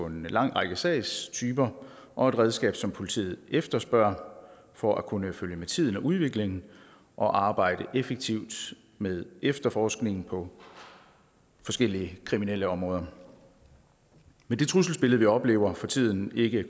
en lang række sagstyper og et redskab som politiet efterspørger for at kunne følge med tiden og udviklingen og arbejde effektivt med efterforskningen på forskellige kriminalitetsområder med det trusselsbillede vi oplever for tiden ikke